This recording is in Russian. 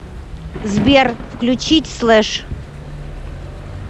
сбер включить слэш